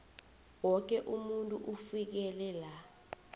woke umuntu ufikelela